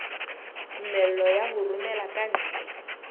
tumello ya ho romela kantle